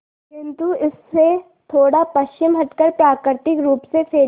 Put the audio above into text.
किंतु इससे थोड़ा पश्चिम हटकर प्राकृतिक रूप से फैली